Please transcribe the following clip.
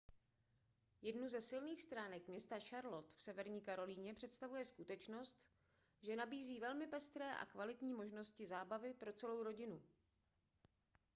jednu ze silných stránek města charlotte v severní karolíně představuje skutečnost že nabízí velmi pestré a kvalitní možnosti zábavy pro celou rodinu